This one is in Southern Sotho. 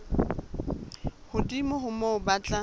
hodimo ho moo ba tla